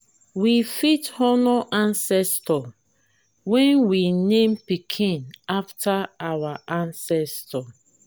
we fit honor ancestor when we name pikin after our ancestor